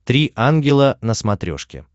три ангела на смотрешке